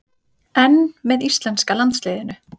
En með íslenska landsliðinu?